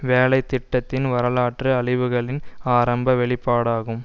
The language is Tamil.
வேலை திட்டத்தின் வரலாற்று அழிவுகளின் ஆரம்ப வெளிப்பாடாகும்